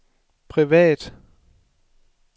privat